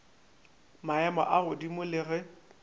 maemo a godimo le ge